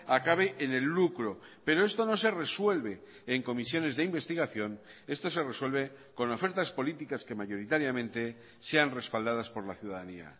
acabe en el lucro pero esto no se resuelve en comisiones de investigación esto se resuelve con ofertas políticas que mayoritariamente sean respaldadas por la ciudadanía